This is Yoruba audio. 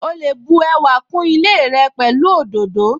Ó lè bu ẹwà kún ilé rẹ pẹ̀lú òdòdó